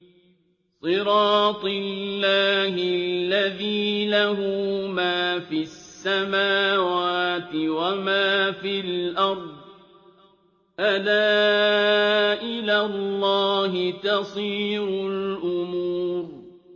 صِرَاطِ اللَّهِ الَّذِي لَهُ مَا فِي السَّمَاوَاتِ وَمَا فِي الْأَرْضِ ۗ أَلَا إِلَى اللَّهِ تَصِيرُ الْأُمُورُ